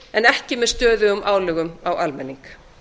en ekki með stöðugum álögum á almenning